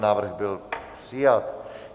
Návrh byl přijat.